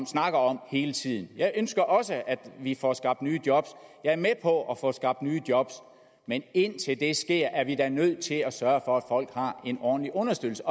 snakke om hele tiden jeg ønsker også at vi får skabt nye job jeg er med på at få skabt nye job men indtil det sker er vi da nødt til at sørge for folk har en ordentlig understøttelse